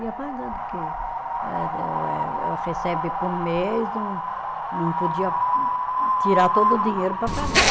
Ia pagando, porque eh eh o eh, âh recebe por mês, não não podia tirar todo o dinheiro para pagar.